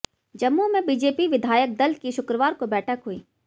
जम्मू में बीजेपी विधायक दल की शुक्रवार को बैठक हुई